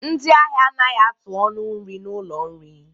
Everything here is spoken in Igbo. Ndị ahịa anaghị atụ ọnụ nri n'ụlọ nri